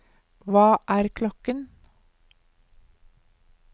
hva er klokken